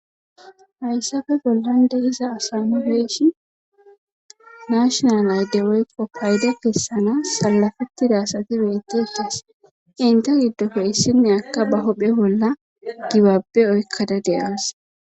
Hayssape bollan de7iza asa nu be7ishin nashinal ayde woykko payda kessanas sallafettida asati beettetes enta giddoppe issiniyakka ba huphe bolla gibabbe oykkada de7awus.